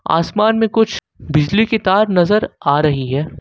आसमान में कुछ बिजली की तार नजर आ रही हैं।